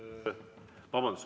Vabandust!